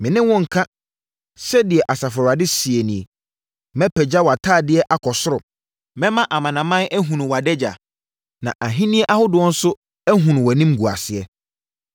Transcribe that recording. “Me ne wo nnka,” sɛdeɛ Asafo Awurade seɛ ni, “Mɛpagya wʼatadeɛ akɔ soro. Mɛma amanaman ahunu wʼadagya na ahennie ahodoɔ nso ahunu wʼanimguaseɛ.